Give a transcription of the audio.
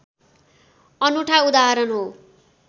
अनुठा उदाहरण हो